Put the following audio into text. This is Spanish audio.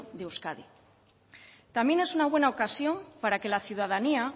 en euskadi también es una buena ocasión para que la ciudadanía